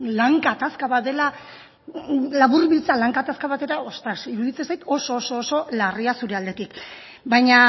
lan gatazka bat dela laburbiltzea lan gatazka batera ostras iruditzen zait oso oso oso larria zure aldetik baina